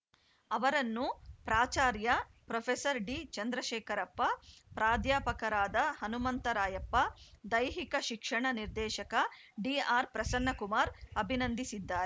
ಅವರನ್ನು ಪ್ರಾಚಾರ್ಯ ಪ್ರೊಫೆಸರ್ ಡಿಚಂದ್ರಶೇಖರಪ್ಪ ಪ್ರಾಧ್ಯಾಪಕರಾದ ಹನುಮಂತರಾಯಪ್ಪ ದೈಹಿಕ ಶಿಕ್ಷಣ ನಿರ್ದೇಶಕ ಡಿಆರ್‌ಪ್ರಸನ್ನಕುಮಾರ್‌ ಅಭಿನಂದಿಸಿದ್ದಾ